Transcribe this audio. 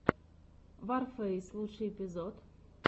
ворфэйс лучший эпизод